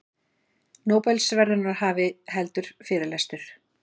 Nóbelsverðlaunahafi heldur fyrirlestur